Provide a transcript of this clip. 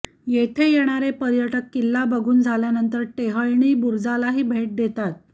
येथे येणारे पर्यटक किल्ला बघून झाल्यानंतर टेहळणी बुरुजालाही भेट देतात